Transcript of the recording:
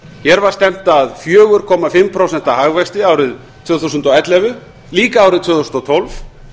hér var stefnt að fjóra komma fimm prósenta hagvexti árið tvö þúsund og ellefu líka árið tvö þúsund og tólf